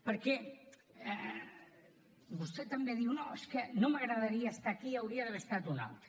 perquè vostè també diu no és que no m’agradaria estar aquí hi hauria d’haver estat un altre